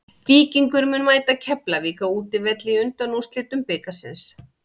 Víkingur mun mæta Keflavík á útivelli í undanúrslitum bikarsins.